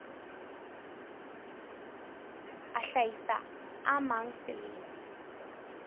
a hlahisa a mang selemo